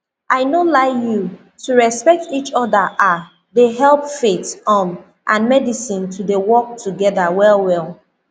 i no lie you to respect each other ah dey help faith um and medicine to dey work together well well